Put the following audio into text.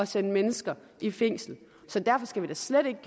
sende mennesker i fængsel så derfor skal vi da slet ikke